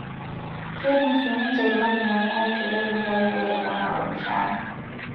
Keidim sii niche ilmalimuni aitoria ildukai pee eponaa oormushaara